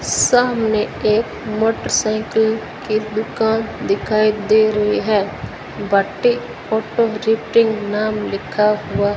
सामने एक मोटरसाइकिल की दुकान दिखाई दे रही है फोटो नाम लिखा हुआ --